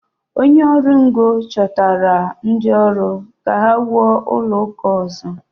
Onye ọrụ ngo chọtara ndị ọrụ ka ha wuo ụlọ ụka ọzọ.